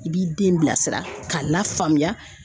I b'i den bilasira k'a lafaamuya.